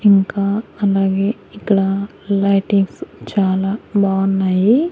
ఇంకా అలాగే ఇక్కడ లైటింగ్స్ చాలా బావున్నాయి.